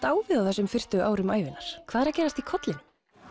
á við á þessum fyrstu árum ævinnar hvað er að gerast í kollinum